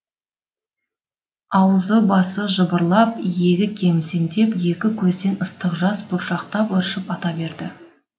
аузы басы жыбырлап иегі кемсеңдеп екі көзден ыстық жас бұршақтап ыршып ата берді